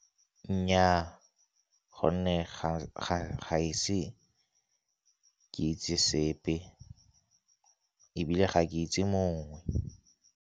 Nnyaa, gonne ga ese ke itse sepe ebile ga ke itse mongwe.